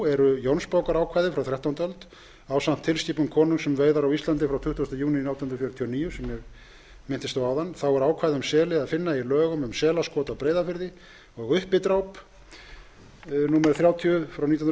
eru jónsbókarákvæði frá þrettándu öld ásamt tilskipun konungs um veiðar á íslandi frá tuttugasta júní átján hundruð fjörutíu og níu sem ég minntist á áðan þá er ákvæði um seli að